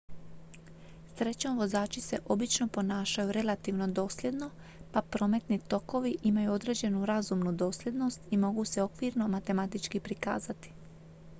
srećom vozači se obično ponašaju relativno dosljedno pa prometni tokovi imaju određenu razumnu dosljednost i mogu se okvirno matematički prikazati